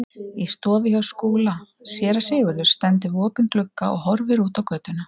Í stofu hjá Skúla: Séra Sigurður stendur við opinn glugga og horfir út á götuna.